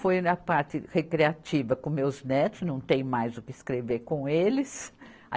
Foi na parte recreativa com meus netos, não tenho mais o que escrever com eles.